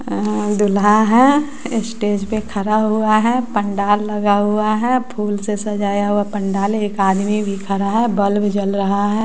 अ दूल्हा हैं स्टेज पे खड़ा हुआ है पंडाल लगा हुआ है फूल से सजाया हुआ पंडाल एक आदमी भी खड़ा है बल्ब जल रहा है।